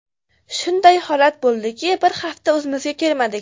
Shunday holat bo‘ldiki, bir hafta o‘zimizga kelmadik.